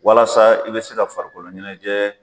Walasa i bɛ se ka farikolo ɲɛnajɛ